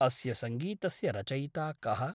अस्य सङ्गीतस्य रचयिता कः?